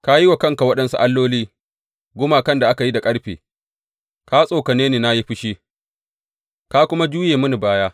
Ka yi wa kanka waɗansu alloli, gumakan da aka yi da ƙarfe; ka tsokane ni na yi fushi, ka kuma juye mini baya.